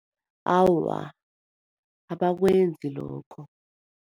Awa, abakwenzi lokho.